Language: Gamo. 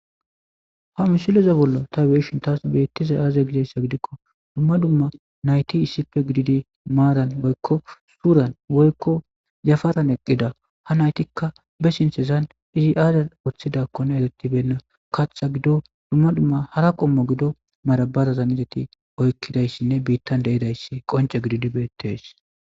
Ha misileza bolla ta beyishin tas betizay aaze gizaysa gidikon cora asati issippe gidida maran woyko cugan woyko yafaran eqida , ha naytika be sinthezan izi aazi wothidakoka eretibeyina katha gidon dumma dumma hara ba gido madabarara izeti oykidaysinne bitan de'idaysi qonceko gidid betes